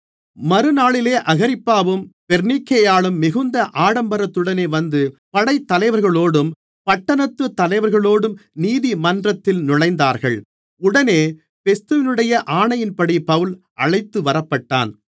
மறுநாளிலே அகிரிப்பாவும் பெர்னீக்கேயாளும் மிகுந்த ஆடம்பரத்துடனே வந்து படைத்தலைவர்களோடும் பட்டணத்து தலைவர்களோடும் நீதிமன்றத்தில் நுழைந்தார்கள் உடனே பெஸ்துவினுடைய ஆணையின்படி பவுல் அழைத்துவரப்பட்டான்